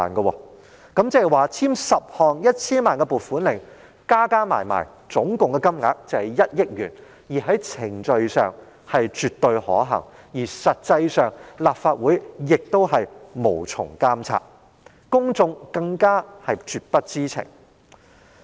換言之，簽署10項各涉及 1,000 萬元的撥款令，撥出共達1億元的款項，在程序上是絕對可行，而實際上立法會亦無從監察，公眾更是絕不知情。